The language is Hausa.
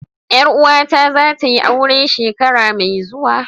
Yar uwata zatayi aure shekara mai zuwa.